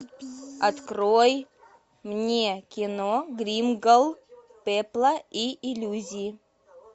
открой мне кино гримгал пепла и иллюзий